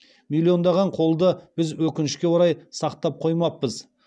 миллиондаған қолды біз өкінішке орай сақтап қоймаппыз